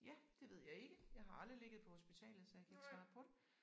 Ja det ved jeg ikke jeg har aldrig ligget på hospitalet så jeg kan ikke svare på det